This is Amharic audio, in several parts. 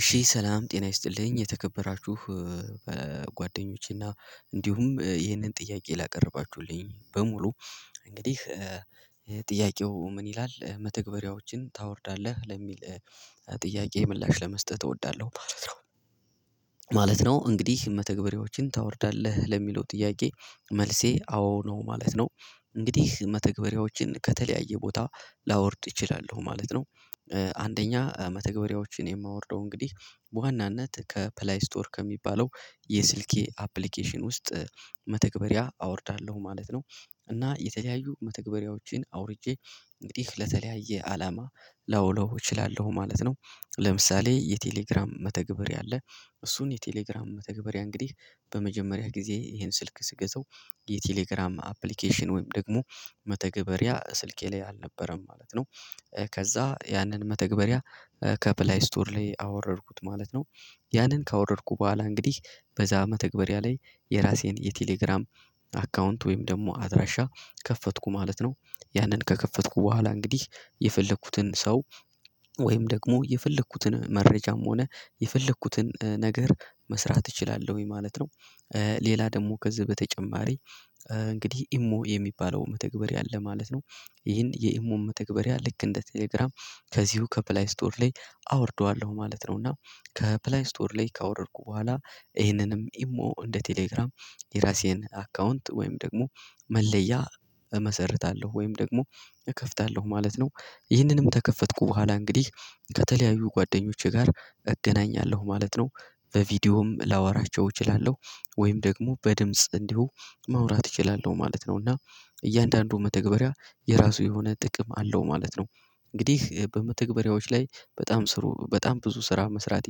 እሺ ሰላም ጤና ይስጥልኝ የተከበራችሁ በጓደኞቼ እና እንዲሁም ይህንን ጥያቄ ላቀረባችሁልኝ በሙሉ እንግዲህ ጥያቄው ምን ይላል መተግበሪያዎችን ታወርዳለህ ለሚል ጥያቄ ምላሽ ለመስጠት እወዳለሁ ማለት ነው። ማለት ነው እንግዲህ መተግበሪያዎችን ታወርዳለህ ለሚለው ጥያቄ መልሴ አዎ ነው ማለት ነው። እንግዲህ መተግበሪያዎችን ከተለያየ ቦታ ላወርድ እችላለሁ ማለት ነው። አንደኛ መተግበሪያዎችን የማወርደው እንግዲህ በዋናነት ከፕላይ ስቶር ከሚባለው የስልኬ አፕሊኬሽን ውስጥ መተግበሪያ አወርዳለሁ ማለት ነው። እና የተለያዩ መተግበሪያዎችን አውርጄ እንግዲህ ለተለያየ አላማ ላውለው እችላለሁ ማለት ነው። ለምሳሌ የቴሌግራም መተግበሪያ አለ እሱን የቴሌግራም መተግበሪያ እንግዲህ በመጀመሪያ ጊዜ ይሄን ስልክ ስገዛው የቴሌግራም አፕሊኬሽን ወይም ደግሞ መተግበሪያ ስልኬ ላይ አልነበረም ማለት ነው። ከዛ ያንን መተግበሪያ ከፕላይ ስቶር ላይ አወረድኩት ማለት ነው። ያንን ካወረድኩ በኋላ እንግዲህ በዛ መተግበሪያ ላይ የራሴን የቴሌግራም አካውንት ወይም ደግሞ አድራሻ ከፈትኩ ማለት ነው። ያንን ከከፈትኩ በኋላ እንግዲህ የፈለኩትን ሰው ወይም ደግሞ የፈለኩትን መረጃም ሆነ የፈለኩትን ነገር መስራት እችላለሁኝ ማለት ነው። ሌላ ደግሞ ከዚህ በተጨማሪ እንግዲህ ኢሞ የሚባለው መተግበሪያ አለ ማለት ነው። ይህን የኢሞን መተግበሪያ ልክ እንደ ቴሌግራም ከዚሁ ከፕላይ ስቶር ላይ አወርደዋለሁ ማለት ነው። እና ከፕላይ ስቶር ላይ ካወረድኩ በኋላ ይሄንንም ኢሞ እንደ ቴሌግራም የራሴን አካውንት ወይም ደግሞ መለያ እመሰርታለሁ ወይም ደግሞ እከፍታለሁ ማለት ነው። ይህንንም ተከፈትኩ በኋላ እንግዲህ ከተለያዩ ጓደኞቼ ጋር እገናኛለሁ ማለት ነው። በቪዲዮም ላወራቸው እችላለሁ ወይም ደግሞ በድምጽ እንዲሁ ማውራት እችላለሁ ማለት ነው። እና እያንዳንዱ መተግበሪያ የራሱ የሆነ ጥቅም አለው ማለት ነው። እንግዲህ በመተግበሪያዎች ላይ በጣም ስሩ በጣም ብዙ ስራ መስራት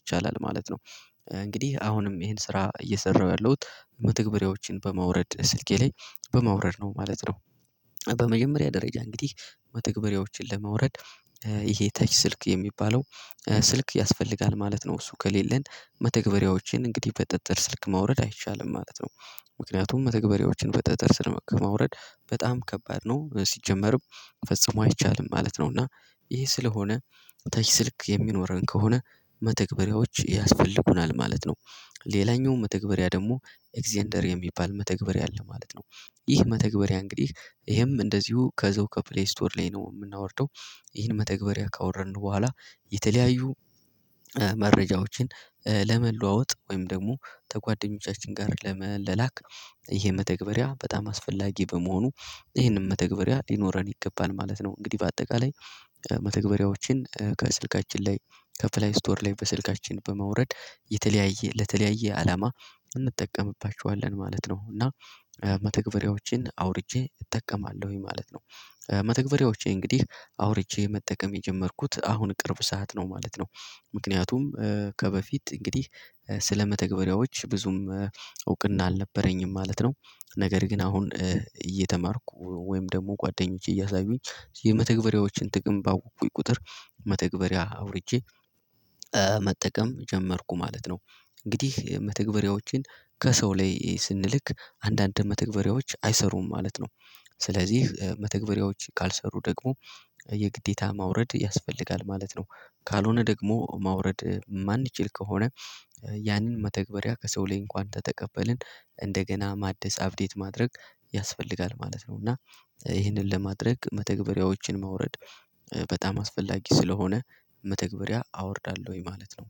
ይቻላል ማለት ነው። እንግዲህ አሁንም ይሄን ስራ እየሰራሁ ያለሁት መተግበሪያዎችን በማውረድ ስልኬ ላይ በማውረድ ነው ማለት ነው። በመጀመሪያ ደረጃ እንግዲህ መተግበሪያዎችን ለማውረድ ይሄ ተች ስልክ የሚባለው ስልክ ያስፈልጋል ማለት ነው። እሱ ከሌለን መተግበሪያዎችን እንግዲህ በጥጥር ስልክ ማውረድ አይቻልም ማለት ነው። ምክንያቱም መተግበሪያዎችን በጠጠር ስልክ ማውረድ በጣም ከባድ ነው ሲጀመርም ፈጽሞ አይቻልም ማለት ነው። እና ይሄ ስለሆነ ተች ስልክ የሚኖረን ከሆነ መተግበሪያዎች ያስፈልጉናል ማለት ነው። ሌላኛው መተግበሪያ ደግሞ ኤግዜንደር የሚባል መተግበሪያ አለ ማለት ነው። ይህ መተግበሪያ እንግዲህ ይሄም እንደዚሁ ከዛው ከፕሌይ ስቶር ላይ ነው ምናወርደው ይህን መተግበሪያ ካወረድን በኋላ የተለያዩ መረጃዎችን ለመለዋወጥ ወይም ደግሞ ከጓደኞቻችን ጋር ለመላላክ ይሄ መተግበሪያ በጣም አስፈላጊ በመሆኑ ይሄንን መተግበሪያ ሊኖረን ይገባል ማለት ነው። እንግዲህ በአጠቃላይ መተግበሪያዎችን ከስልካችን ላይ ከፕላይ ስቶር ላይ በስልካችን በማውረድ የተለያየ ለተለያየ አላማ እንጠቀምባቸዋለን ማለት ነው። እና መተግበሪያዎችን አውርጄ እጠቀማለሁኝ ማለት ነው። መተግበሪያዎቼ እንግዲህ አውርጄ መጠቀም የጀመርኩት አሁን ቅርብ ሰዓት ነው ማለት ነው። ምክንያቱም ከበፊት እንግዲህ ስለመተግበሪያዎች ብዙም እውቅና አልነበረኝም ማለት ነው። ነገር ግን አሁን እየተማርኩ ወይም ደግሞ ጓደኞቼ እያሳዩኝ የመተግበሪያዎችን ጥቅም ባወቅኩኝ ቁጥር መተግበሪያ አውርጄ መጠቀም ጀመርኩ ማለት ነው። እንግዲህ መተግበሪያዎችን ከሰው ላይ ስንልክ አንዳንድ መተግበሪያዎች አይሰሩም ማለት ነው። ስለዚህ መተግበሪያዎች ካልሰሩ ደግሞ የግዴታ ማውረድ ያስፈልጋል ማለት ነው። ካልሆነ ደግሞ ማውረድ የማንችል ከሆነ ያንን መተግበሪያ ከሰው ላይ እንኳን ተተቀበልን እንደገና ማደስ አፕዴት ማድረግ ያስፈልጋል ማለት ነው። እና ይህንን ለማድረግ መተግበሪያዎችን ማውረድ በጣም አስፈላጊ ስለሆነ መተግበሪያ አወርዳለሁኝ ማለት ነው።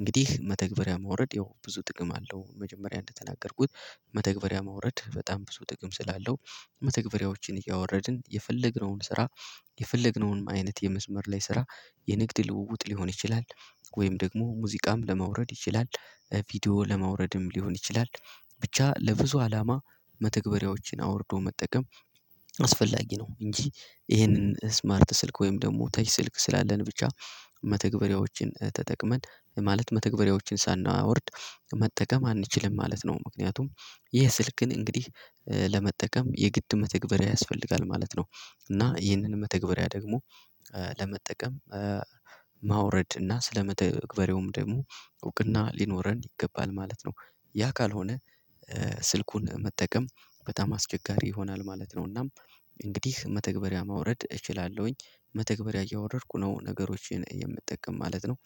እንግዲህ መተግበሪያ ማውረድ ያው ብዙ ጥቅም አለው መጀመሪያ እንደተናገርኩት መተግበሪያ ማውረድ በጣም ብዙ ጥቅም ስላለው መተግበሪያዎችን እያወረድን የፈለግነውን ስራ የፈለግነውንም አይነት የመስመር ላይ ስራ የንግድ ልውውጥ ሊሆን ይችላል። ወይም ደግሞ ሙዚቃም ለማውረድ ይችላል ቪዲዮ ለማውረድም ሊሆን ይችላል ብቻ ለብዙ አላማ መተግበሪያዎችን አውርዶ መጠቀም አስፈላጊ ነው። እንጂ ይሄንን እስማርት ስልክ ወይም ደግሞ ተች ስልክ ስላለን ብቻ መተግበሪያዎችን ተጠቅመን ማለት መተግበሪያዎችን ሳናወርድ መጠቀም አንችልም ማለት ነው። ምክንያቱም ይህ ስልክን እንግዲህ ለመጠቀም የግድ መተግበሪያ ያስፈልጋል ማለት ነው። እና ይህንን መተግበሪያ ደግሞ ለመጠቀም ማውረድ እና ስለመተግበሪያውም ደግሞ እውቅና ሊኖረን ይገባል ማለት ነው። ያ ካልሆነ ስልኩን መጠቀም በጣም አስቸጋሪ ይሆናል ማለት ነው። እናም እንግዲህ መተግበሪያ ማውረድ እችላለሁኝ መተግበሪያ እያወረድኩ ነው ነገሮችን የምጠቀም ማለት ነው።